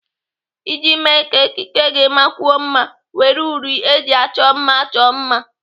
Iji mee ka ekike gị makwuo mma, were uri eji achọ mma chọọ mma.